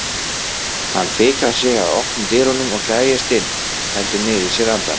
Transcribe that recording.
Hann fikrar sig að opnum dyrunum og gægist inn, heldur niðri í sér andanum.